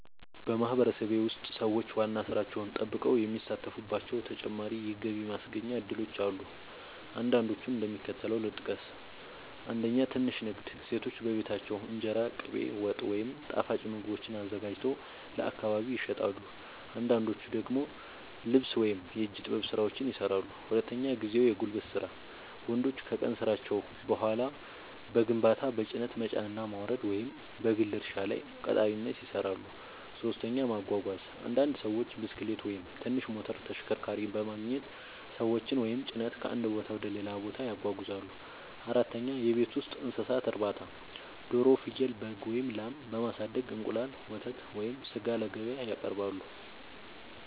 በማህበረሰቤ ውስጥ ሰዎች ዋና ሥራቸውን ጠብቀው የሚሳተፉባቸው ተጨማሪ የገቢ ማስገኛ እድሎች አሉ። አንዳንዶቹን እንደሚከተለው ልጠቅስ፦ 1. ትንሽ ንግድ – ሴቶች በቤታቸው እንጀራ፣ ቅቤ፣ ወጥ ወይም ጣፋጭ ምግቦችን አዘጋጅተው ለአካባቢ ይሸጣሉ። አንዳንዶች ደግሞ ልብስ ወይም የእጅ ጥበብ ሥራዎችን ይሠራሉ። 2. ጊዜያዊ የጉልበት ሥራ – ወንዶች ከቀን ሥራቸው በኋላ በግንባታ፣ በጭነት መጫንና ማውረድ፣ ወይም በግል እርሻ ላይ ቀጣሪነት ይሠራሉ። 3. ማጓጓዝ – አንዳንድ ሰዎች ብስክሌት ወይም ትንሽ ሞተር ተሽከርካሪ በማግኘት ሰዎችን ወይም ጭነት ከአንድ ቦታ ወደ ሌላ ያጓጉዛሉ። 4. የቤት ውስጥ እንስሳት እርባታ – ዶሮ፣ ፍየል፣ በግ ወይም ላም በማሳደግ እንቁላል፣ ወተት ወይም ሥጋ ለገበያ ያቀርባሉ።